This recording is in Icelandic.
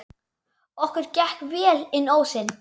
Okkur gekk vel inn ósinn.